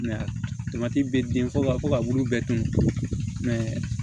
bɛ den fɔ ba fɔ ka bulu bɛɛ dun